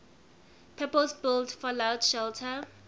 purpose built fallout shelter